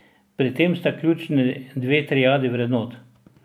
Pri tem sta ključni dve triadi vrednot.